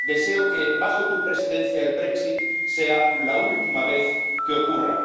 Deseo que bajo tu Presidencia el Brexit sea la última vez que ocurra